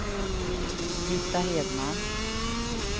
Britta Hedman